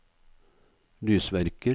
lysverker